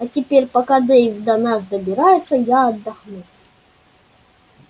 а теперь пока дейв до нас добирается я отдохну